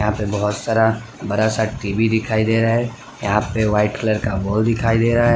और बहोत सारा बड़ा सा टी_वी दिखाई दे रहा है यहां पे वाइट कलर का वॉल दिखाई दे रहा है।